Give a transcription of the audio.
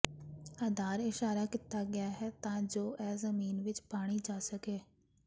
ਆਧਾਰ ਇਸ਼ਾਰਾ ਕੀਤਾ ਗਿਆ ਹੈ ਤਾਂ ਜੋ ਇਹ ਜ਼ਮੀਨ ਵਿੱਚ ਪਾਈ ਜਾ ਸਕੇ